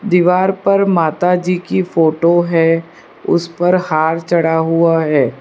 दीवार पर माता जी की फोटो है उस पर हार चढ़ा हुआ है।